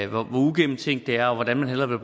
og hvor ugennemtænkt det er og hvordan man hellere ville